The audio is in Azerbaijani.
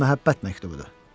Bu məhəbbət məktubudur.